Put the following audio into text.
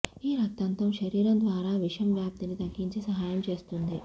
ఈ రక్తంతో శరీరం ద్వారా విషం వ్యాప్తిని తగ్గించి సహాయం చేస్తుంది